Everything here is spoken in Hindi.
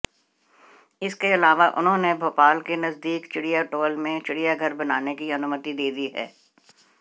इसके अलावा उन्हाेंने भाेपाल के नजदीक चिड़ियाटाेल में चिड़ियाघर बनाने की अनुमति दे दी है